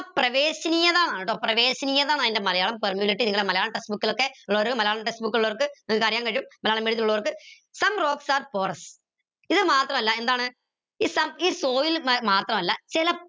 പ്രവേശനീയതാണ് ട്ടോ പ്രവേശനീയതാ ന്ന അതിന്റെ മലയാളം മലയാളം text book ലോക്കെ ഉള്ളവർ മലയാളം text book ഉള്ളോർക്ക് നിങ്ങക്ക് അറിയാൻ കഴിയും മലയാളം medium ത്തിലുള്ളവർക്ക് some rocks are porous ഇത് മാത്രല്ല എന്താണ് ഈ soil മാത്രമല്ല ചില